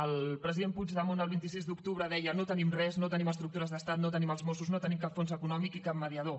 el president puigdemont el vint sis d’octubre deia no tenim res no tenim estructures d’estat no tenim els mossos no tenim cap fons econòmic ni cap mediador